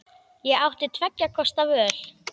Ég átti tveggja kosta völ.